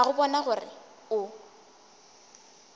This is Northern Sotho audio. a go bona gore o